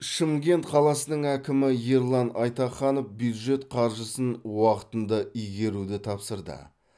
шымкент қаласының әкімі ерлан айтаханов бюджет қаржысын уақытында игеруді тапсырды